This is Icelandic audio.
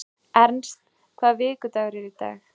Ernst, hvaða vikudagur er í dag?